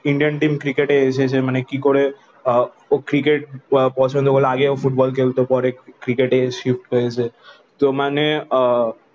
Indian team cricket এ এসেচে মানে কি করে ও ক্রিকেট পছন্দ করে আগে ও ফুটবল খেলতো পরে ক্রিকেট এ শিফট করেছে তো মানে আহ